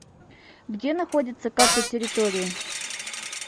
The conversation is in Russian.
где находится карта территории